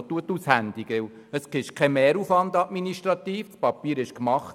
Es ist administrativ kein Mehraufwand, das Papier wurde gemacht.